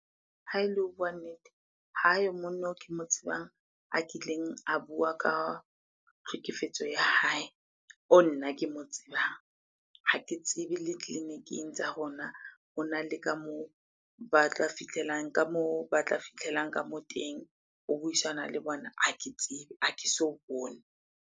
Ha ele ho bua nnete, hayo monno o ke mo tsebang a kileng a bua ka tlhekefetso ya hae, oo nna ke mo tsebang. Ha ke tsebe le tleliniking tsa rona hona le ka moo ba tla fitlhelang ka mo teng ho buisana le bona. Ha ke tsebe, ha ke so bone.